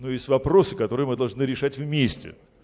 но есть вопросы которые мы должны решать вместе